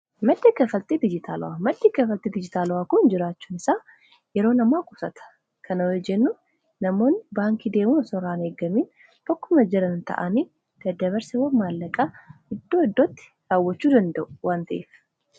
Madda kanfalti dijitilawwaa. maddi kanfalti dijitaalawwa kun jiraachuun isaa yeroo namaa qusata kana hoo jennu namoonni baankii deemun osoo irraa hin eeggamiin bakkuma jiran ta'anii dadabarsawwan maallaqaa iddoo iddootti daawwachuu danda'u waan ta'eef